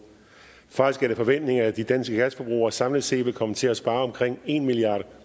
faktisk er det forventningen at de danske gasforbrugere samlet set vil komme til at spare omkring en milliard